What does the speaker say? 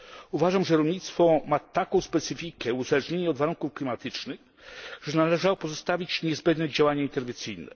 Uważam, że rolnictwo ma taką specyfikę uzależnienia od warunków klimatycznych, że należało pozostawić niezbędne działania interwencyjne.